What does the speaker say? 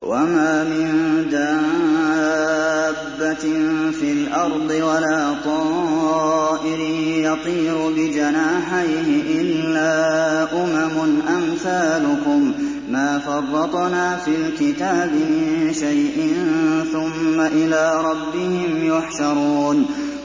وَمَا مِن دَابَّةٍ فِي الْأَرْضِ وَلَا طَائِرٍ يَطِيرُ بِجَنَاحَيْهِ إِلَّا أُمَمٌ أَمْثَالُكُم ۚ مَّا فَرَّطْنَا فِي الْكِتَابِ مِن شَيْءٍ ۚ ثُمَّ إِلَىٰ رَبِّهِمْ يُحْشَرُونَ